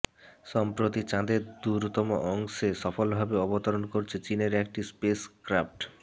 সম্প্রতি চাঁদের দূরতম অংশে সফলভাবে অবতরণ করেছে চীনের একটি স্পেসক্রাফট